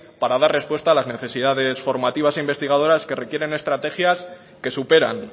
para dar respuesta a las necesidades formativas e investigadoras que requieren estrategias que superan